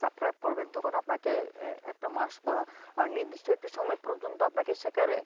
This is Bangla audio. subscribe করবেন তখন আপনাকে একটা মাস বা নির্দিষ্ট একটা সময় পর্যন্ত আপনাকে সেখানে